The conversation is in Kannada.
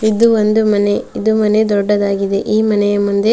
ಇದು ಒಂದು ಮನೆ ಮನೆ ದೊಡ್ಡದಾಗಿದೆ ಈ ಮನೆಯ ಮುಂದೆ.